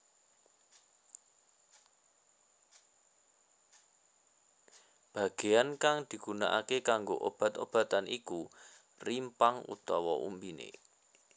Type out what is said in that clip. Bagean kang digunakake kanggo obat obatan iku rimpang utawa umbiné